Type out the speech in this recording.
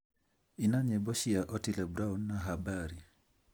ina nyĩmbo cia otile brown na habari